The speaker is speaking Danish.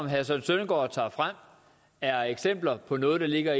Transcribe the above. herre søren søndergaard tager frem er eksempler på noget der ligger